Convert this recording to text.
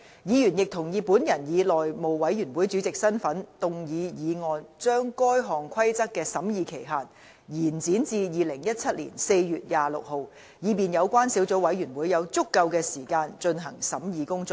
議員亦同意本人以內務委員會主席的身份動議議案，將該項規則的審議期限延展至2017年4月26日，以便有關小組委員會有足夠的時間進行審議工作。